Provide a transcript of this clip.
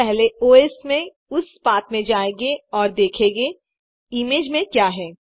हम पहले ओएस में उस पाथ में जायेंगे और देखेंगे इमेज में क्या है